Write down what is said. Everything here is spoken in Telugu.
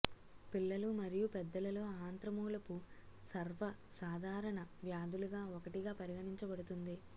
పిల్లలు మరియు పెద్దలలో ఆంత్రమూలపు సర్వసాధారణ వ్యాధులుగా ఒకటిగా పరిగణించబడుతుంది